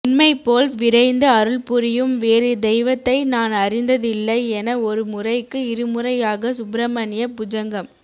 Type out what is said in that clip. உன்னைப் போல் விரைந்து அருள்புரியும் வேறு தெய்வத்தை நான் அறிந்ததில்லை என ஒருமுறைக்கு இருமுறையாக சுப்ரமண்ய புஜங்கம்